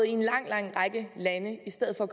i en lang lang række lande i stedet for